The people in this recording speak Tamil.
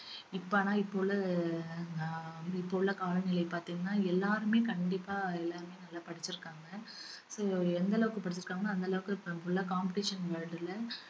இப்ப ஆனா இப்ப உள்ள ஆஹ் வந்து இப்ப உள்ள காலநிலை பாத்தீங்கன்னா எல்லாருமே கண்டிப்பா எல்லாருமே நல்லா படிச்சிருக்காங்க அஹ் எந்தளவுக்கு படிச்சிருக்காங்களோ அந்தளவுக்கு full ஆ competition world ல